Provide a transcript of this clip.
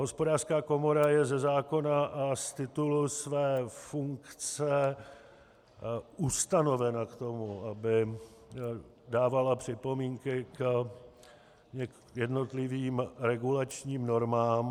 Hospodářská komora je ze zákona a z titulu své funkce ustanovena k tomu, aby dávala připomínky k jednotlivým regulačním normám.